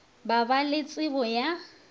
ba ba le tšebo ya